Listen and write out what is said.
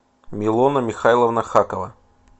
милона михайловна хакова